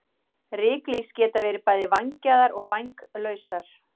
Ryklýs geta verið bæði vængjaðar og vænglausar.